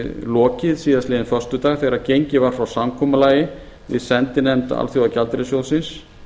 lokið síðastliðinn föstudag þegar gengið var frá samkomulagi við sendinefnd alþjóðagjaldeyrissjóðsins